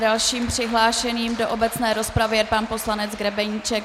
Dalším přihlášeným do obecné rozpravy je pan poslanec Grebeníček.